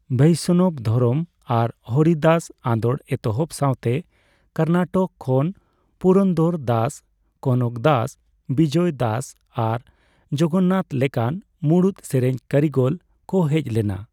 ᱵᱳᱥᱱᱚᱵᱽ ᱫᱷᱚᱨᱚᱢ ᱟᱨ ᱦᱚᱨᱤᱫᱟᱥ ᱟᱸᱫᱳᱲ ᱮᱛᱚᱦᱚᱵ ᱥᱟᱣᱛᱮ ᱠᱚᱨᱱᱟᱴᱚᱠ ᱠᱷᱚᱱ ᱯᱩᱨᱚᱱᱫᱚᱨᱫᱟᱥ, ᱠᱚᱱᱚᱠᱫᱟᱥ, ᱵᱤᱡᱚᱭᱫᱟᱥ ᱟᱨ ᱡᱚᱜᱚᱱᱱᱟᱛᱷ ᱞᱮᱠᱟᱱ ᱢᱩᱬᱩᱛ ᱥᱮᱨᱮᱧ ᱠᱟᱨᱤᱜᱚᱞ ᱠᱚ ᱦᱮᱡᱽ ᱞᱮᱱᱟ ᱾